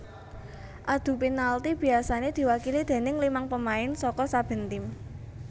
Adu penalti biasané diwakili déning limang pemain saka saben tim